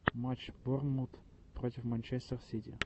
матч борнмут против манчестер сити